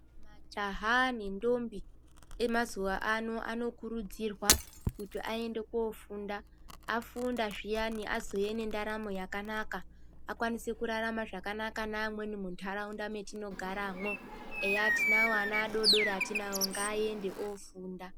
Majaha nentombi emazuwa ano anokurudzirwa kuti aende kofunda. Afunda zviyani azouya nendaramo yakanaka, akwanise kurarama zvakanaka neamweni muntaraunda mwetinogaramo. Eya tinawo ana adodori etinawo ngaende kofunda.